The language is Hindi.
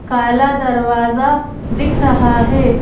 काला दरवाजा दिख रहा है।